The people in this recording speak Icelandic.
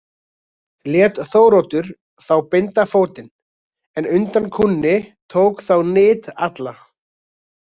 Lét Þóroddur þá binda fótinn en undan kúnni tók þá nyt alla.